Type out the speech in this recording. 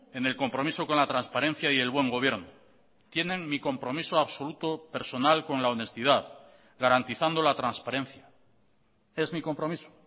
en el compromiso con la transparencia y el buen gobierno tienen mi compromiso absoluto personal con la honestidad garantizando la transparencia es mi compromiso